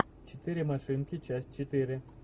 четыре машинки часть четыре